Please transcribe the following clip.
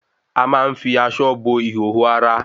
A ma ń fi aṣọ bo ìhòòhò ara